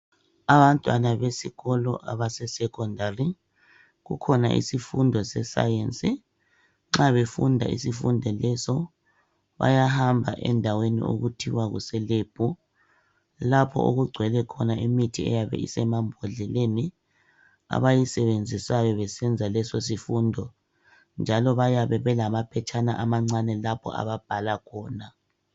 Abantwana besikolo abase secondary kukhona isifundo se science nxa befunda isifundo leso bayahamba endaweni okuthiwa kuse lab lapho okugcwele khona imithi eyabe isemambhodleleni abayisebenzisayo besenza leso sifundo njalo bayabe belama phetshana amancane lapho ababhala khona.